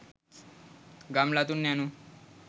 ගම්ලතුන් යනු